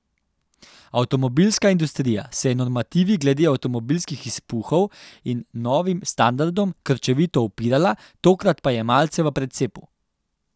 Avtomobilska industrija se je normativi glede avtomobilskih izpuhov in novim standardom krčevito upirala, tokrat pa je malce v precepu.